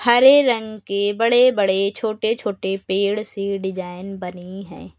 हरे रंग के बड़े बड़े छोटे छोटे पेड़ सी डिजाइन बनी है।